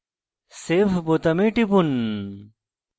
save বোতামে টিপুন